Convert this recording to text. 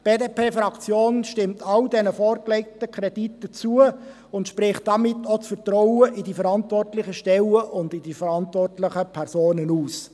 Die BDP-Fraktion stimmt allen vorgelegten Krediten zu und spricht damit den verantwortlichen Stellen und Personen ihr Vertrauen in aus.